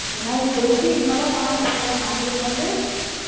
இப்போதைக்கு இந்த மாரி எல்லாம் பண்ணோம்னு வச்சிக்கோயே நமளுக்கு வந்து